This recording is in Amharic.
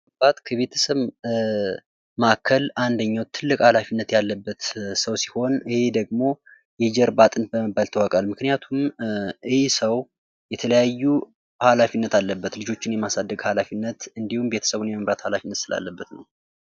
ከቤተሰብ ማካከል አንደኛው ትልቅ ኃላፊነት ያለበት ሰው ሲሆን ይሄ ደግሞ የጀርባ አጥንት በመባል ይታወቃል። ምክንያቱም ይህ ሰው የተለያዩ ኃላፊነት አለበት። ልጆችን የማሳደግ ሃላፊነት እንዲሁም ቤተሰብን የመምራት ኀላፊነት ስላለበት ነው።